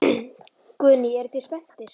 Guðný: Eruð þið spenntir?